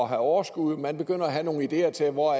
have overskud man begynder at have nogle ideer til hvor